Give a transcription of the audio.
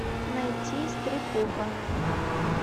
найти стряпуха